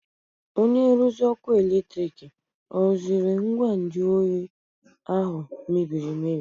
Onye nruzi ọkụ eletrik ọ rụziri ngwa nju oyi ahụ mebiri emebi?